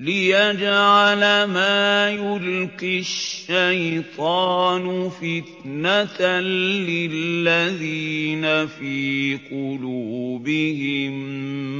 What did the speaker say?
لِّيَجْعَلَ مَا يُلْقِي الشَّيْطَانُ فِتْنَةً لِّلَّذِينَ فِي قُلُوبِهِم